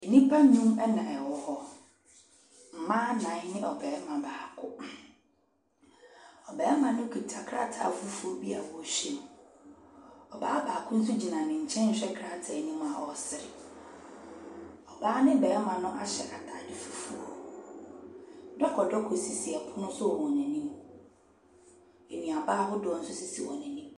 Nnipa nnum na ɛwɔ hɔ, mmaa nnan ne ɔbarima baako. Ɔbarima no kita krataa fufuo bi a ɔrehwɛ mu, ɔbaa baako nso gyina ne rehwɛ krataa ne mu a ɔrese. Ɔbaa ne ɔbarima no ahyɛ ntaade fufuo. Dɔkɔdɔkɔ sisi pono so wɔ wɔn anim, nnuaba ahodoɔ nso si wɔn anim.